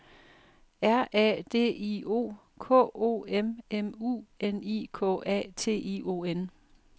R A D I O K O M M U N I K A T I O N